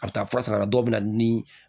A bɛ taa fura san a la dɔw bɛ na ni